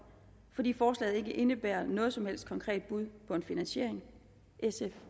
fordi forslaget ikke indebærer noget som helst konkret bud på en finansiering sf